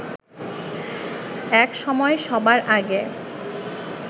একসময় সবার আগে